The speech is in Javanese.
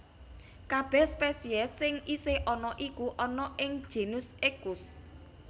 Kabèh spesies sing isih ana iku ana ing genus Equus